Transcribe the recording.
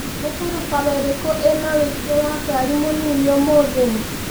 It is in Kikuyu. Nĩ barabara ĩrĩkũ ĩna ũingi wa ngari mũnini ũmũthĩ